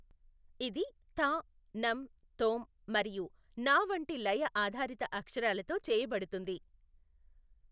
ఇది థా, నం, థోమ్ మరియు నా వంటి లయ ఆధారిత అక్షరాలతో చేయబడుతుంది.